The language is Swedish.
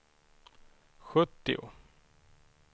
sjuttio